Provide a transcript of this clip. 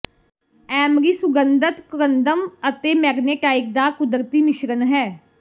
Emory ਸੁਗੰਧਤ corundum ਅਤੇ magnetite ਦਾ ਕੁਦਰਤੀ ਮਿਸ਼ਰਣ ਹੈ